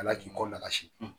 Ala k'i kɔ nagasi